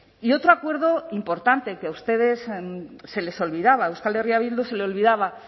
y otro acuerdo importante que a ustedes se les olvidaba a euskal herria bildu se le olvidaba